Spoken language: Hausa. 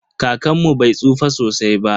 Kakanmu bai tsufa sosai ba.